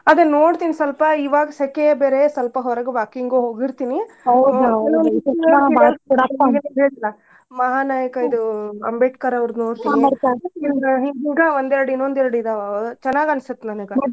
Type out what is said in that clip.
ಅದನ್ ನೋಡ್ತೀನ್ ಸ್ವಲ್ಪ ಇವಾಗ್ ಸೆಖೆ ಬೇರೆ ಸ್ವಲ್ಪ ಹೊರಗ್ walking ಹೋಗಿರ್ತಿನಿ ಮಹಾ ನಾಯಕ ಇದು ಅಂಬೇಡ್ಕರ್ ಅವರ್ದು ನೋಡ್ತೀವಿ ಹಿಂಗ ಹಿಂಗ ಇನ್ನೋದ್ ಎರ್ಡ್ ಇದಾವ್ ಅವ ಚನಾಗ ಅನ್ಸುತ್ ನನಗ.